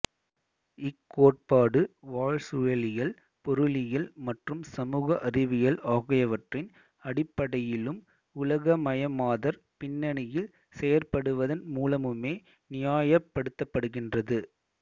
இக் கோட்பாடு வாழ்சூழலியல் பொருளியல் மற்றும் சமூக அறிவியல் ஆகியவற்றின் அடிப்படையிலும் உலகமயமாதற் பின்னணியில் செயற்படுவதன் மூலமுமே நியாயப் படுத்தப்படுகின்றது